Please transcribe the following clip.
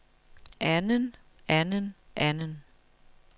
anden anden anden